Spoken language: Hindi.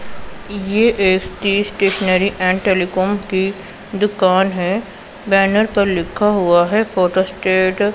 ये एक ती स्टेशनरी एंड टेलीकॉम की दुकान है बैनर पर लिखा हुआ है फोटो स्टेट --